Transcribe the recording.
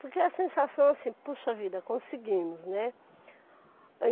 Porque a sensação assim, puxa vida, conseguimos, né?